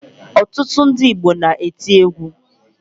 Ọtụtụ ndị Igbo na-eti egwu